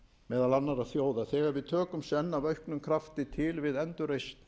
meðal annarra þjóða þegar við tökum senn af auknum krafti til við endurreisn